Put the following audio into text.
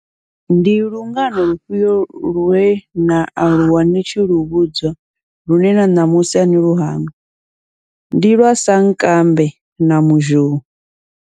Ndi lungano lufhio lwena aluwa ni tshi lu vhudzwa lune na ṋamusi ani lu hangwi, ndi lwa sankambe na muzhou.